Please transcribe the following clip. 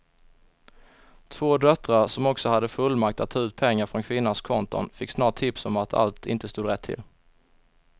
Två döttrar som också hade fullmakt att ta ut pengar från kvinnans konton fick snart tips om att allt inte stod rätt till.